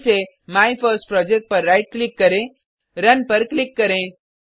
फिर से माइफर्स्टप्रोजेक्ट पर राइट क्लिक करें रुन पर क्लिक करें